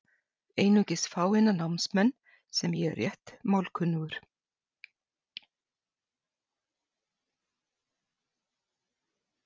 Einungis fáeina námsmenn, sem ég er rétt málkunnugur.